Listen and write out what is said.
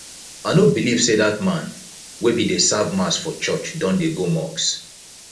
i no believe say dat man wey bin dey serve mass for church don dey go mosque